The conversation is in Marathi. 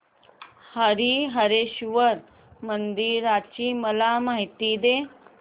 हरीहरेश्वर मंदिराची मला माहिती दे